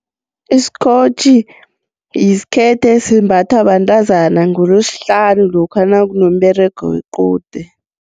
Isikotjhi yisikhethe esimbathwa bantazana ngolosihlanu lokha nakunomberego wequde.